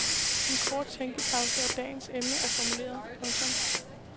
En kort tænkepause og dagens emne er formuleret. punktum